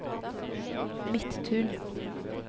Midttun